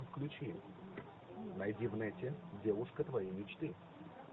включи найди в нете девушка твоей мечты